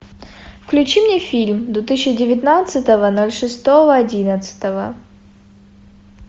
включи мне фильм две тысячи девятнадцатого ноль шестого одиннадцатого